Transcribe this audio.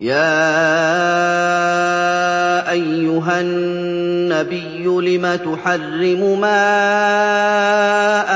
يَا أَيُّهَا النَّبِيُّ لِمَ تُحَرِّمُ مَا